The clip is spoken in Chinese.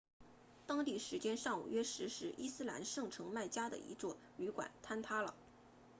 当地时间上午约十时伊斯兰圣城麦加的一家旅馆坍塌了